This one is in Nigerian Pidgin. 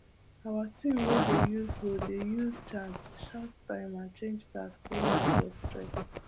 our team wey dey use hoe dey use chant shout time and change tasks wey no get stress